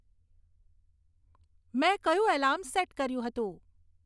મેં કયું alarm set કર્યું હતું